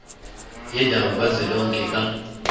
yendawo kazwelonke ka